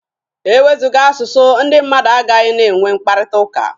E wezụga asụsụ, ndị mmadụ agaghị na-enwe mkparịtaụka.